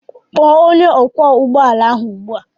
Kpọọ onye ọkwọ ụgbọala ugbu a!